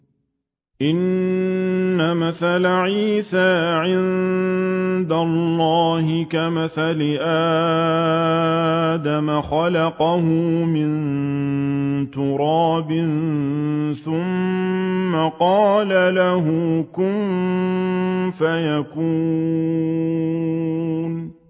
إِنَّ مَثَلَ عِيسَىٰ عِندَ اللَّهِ كَمَثَلِ آدَمَ ۖ خَلَقَهُ مِن تُرَابٍ ثُمَّ قَالَ لَهُ كُن فَيَكُونُ